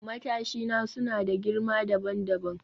Matashina suna da girma dabam dabam